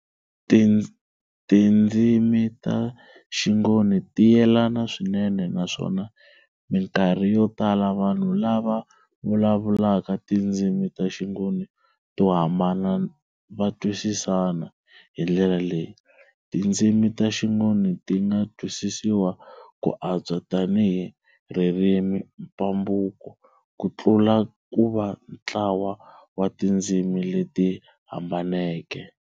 Tindzimi ta xiNgoni ti yelana swinene, naswona minkarhi yo tala vanhu lava vulavulaka tindzimi ta xingoni to hambana va twisisana, hi ndlela leyi, tindzimi ta xiNgoni ti nga twisisiwa ku antswa tanihi ririmi-mpambukwa ku tlula ku va ntlawa wa tindzimi leti hambaneke.